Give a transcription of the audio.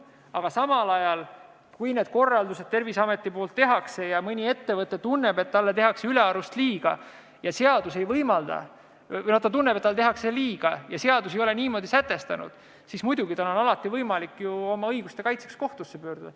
Aga samal ajal, kui Terviseamet need korraldused teeb ja mõni ettevõte tunneb, et talle tehakse liiga ja seadus ei ole niimoodi sätestanud, siis muidugi on tal alati võimalik oma õiguste kaitseks kohtusse pöörduda.